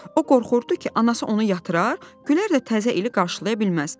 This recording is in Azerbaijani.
O qorxurdu ki, anası onu yatırar, Gülər də təzə ili qarşılaya bilməz.